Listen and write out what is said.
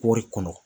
Kɔri kɔnɔ